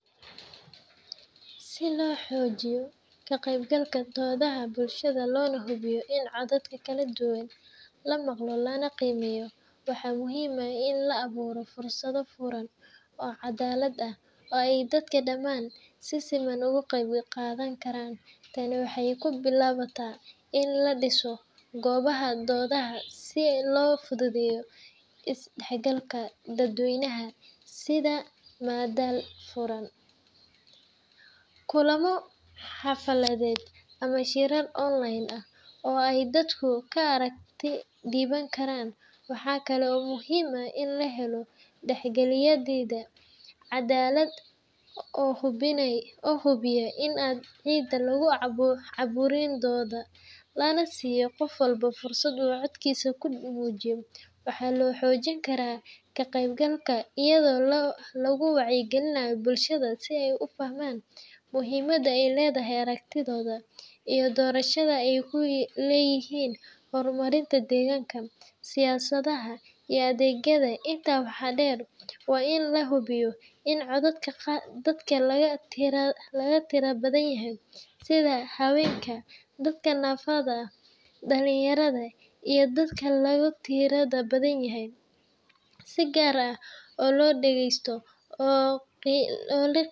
Si loo xoojiyo ka qaybgalka doodaha bulshada loona hubiyo in codadka kala duwan la maqlo lana qiimeeyo, waxaa muhiim ah in la abuuro fursado furan oo caddaalad ah oo ay dadka dhammaan, si siman uga qayb qaadan karaan. Tani waxay ku bilaabataa in la dhiso goobaha doodaha si loo fududeeyo is-dhexgalka dadweynaha, sida madal furan (shirweyne dadweyne), kulamo xaafadeed, ama shirar online ah oo ay dadku ka aragti dhiiban karaan. Waxaa kale oo muhiim ah in la helo dhexdhexaadiye cadaalad ah oo hubiya in aan cid lagu caburin doodda, lana siiyo qof walba fursad uu codkiisa ku muujiyo. Waxaa la xoojin karaa ka qaybgalka iyadoo lagu wacyigelinayo bulshooyinka si ay u fahmaan muhiimadda ay leedahay aragtidooda iyo doorashada ay ku leeyihiin horumarinta deegaanka, siyaasadda, iyo adeegyada. Intaa waxaa dheer, waa in la hubiyaa in codadka dadka laga tirada badan yahay, sida haweenka, dadka naafada ah, dhalinyarada, iyo dadka laga tirada badan yahay, si gaar ah loo dhageysto oo loo.